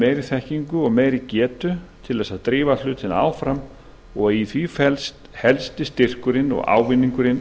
meiri þekkingu og meiri getu til þess að drífa hlutina áfram og í því felst helsti styrkur og ávinningur